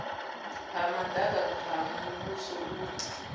ha madaka ha muvhuso hu